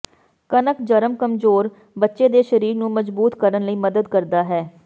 ਕਣਕ ਜਰਮ ਕਮਜ਼ੋਰ ਬੱਚੇ ਦੇ ਸਰੀਰ ਨੂੰ ਮਜ਼ਬੂਤ ਕਰਨ ਲਈ ਮਦਦ ਕਰਦਾ ਹੈ